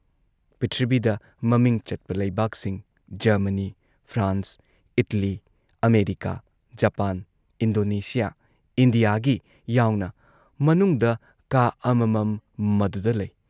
ꯄ꯭ꯔꯤꯊꯤꯕꯤꯗ ꯃꯃꯤꯡ ꯆꯠꯄ ꯂꯩꯕꯥꯛꯁꯤꯡ Germany, France, Italy, America, Japan, Indonesia ꯏꯟꯗꯤꯌꯥꯒꯤ ꯌꯥꯎꯅ ꯃꯅꯨꯡꯗ ꯀꯥ ꯑꯃꯃꯝ ꯃꯗꯨꯗ ꯂꯩ ꯫